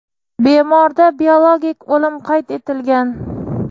bemorda biologik o‘lim qayd etilgan.